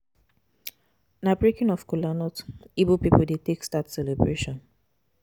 Na breaking of cola nut Ibo pipu dey take start celebration.